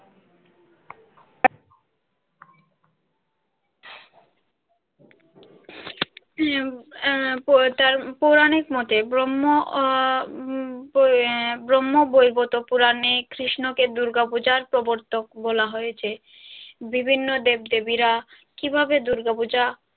হম পৌরাণিক মতে ব্রহ্ম উম ব্রহ্ম বৈবতো পুরাণে কৃষ্ণকে দূর্গা পূজার প্রবর্তক বলা হয়েছে বিভিন্ন দেব দেবীরা কিভাবে দূর্গা পূজা।